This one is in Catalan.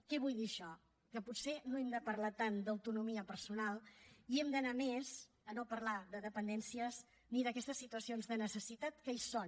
què vull dir amb això que potser no hem de parlar tant d’autonomia personal i hem d’anar més a no parlar de dependències ni d’aquestes situacions de necessitat que hi són